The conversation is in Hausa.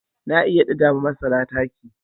Na iya ɗiga wa masara taki.